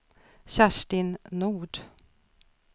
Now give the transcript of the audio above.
Kerstin Nord